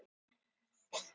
D